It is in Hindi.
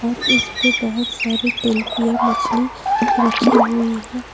और इसपे बहोत सारी तेल पिया मछली रखी हुई है।